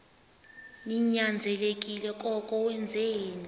ninyanzelekile koko wenzeni